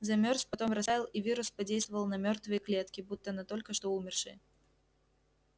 замёрз потом растаял и вирус подействовал на мёртвые клетки будто на только что умершие